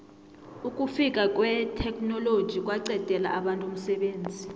ukufika kwetheknoloji kwaqedela abantu umsebenzi